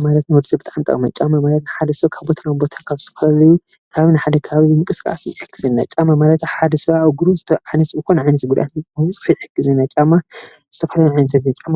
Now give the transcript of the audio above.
ጫማ ማለት ንወዲ ሰብ ብጣዕሚ ጠቃሚ እዩ፡፡ ጫማ ማለት ሓደ ሰብ ካብ ቦታ ናብ ቦታ ካብን እስካብ ሓደ ቦታ ንምንቅስቃስ ይሕግዘና፡፡ ጫማ ማለት ሓደ ሰብ እግሩ ናይ ዓይነስውር ተኮይኑ ዓይነስውር ጫማ ብዙ ነገር እዩ ዝጠቅመና፡፡ ብዘይ ጫማ